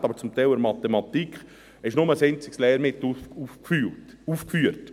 Zum Teil ist aber auch in der Mathematik nur ein einziges Lehrmittel aufgeführt.